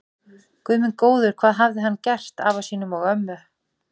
Guð minn góður, hvað hafði hann gert afa sínum og ömmu.